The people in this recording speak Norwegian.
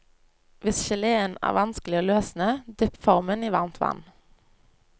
Hvis geléen er vanskelig å løsne, dypp formen i varmt vann.